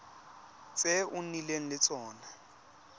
tse o nnileng le tsone